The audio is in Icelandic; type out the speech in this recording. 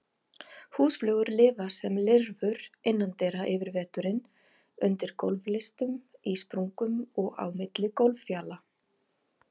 Húsflugur lifa sem lirfur innandyra yfir veturinn, undir gólflistum, í sprungum og á milli gólffjala.